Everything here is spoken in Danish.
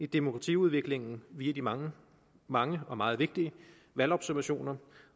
demokratiudviklingen via de mange mange og meget vigtige valgobservationer